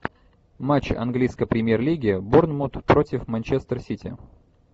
матч английской премьер лиги борнмут против манчестер сити